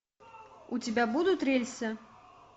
у тебя будут рельсы